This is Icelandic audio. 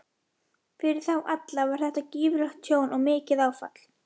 Fyrir þá alla var þetta gífurlegt tjón og mikið áfall.